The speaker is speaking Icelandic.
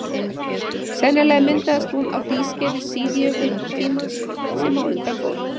sennilega myndaðist hún á hlýskeiði síðjökultímans sem á undan fór